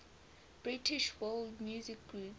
british world music groups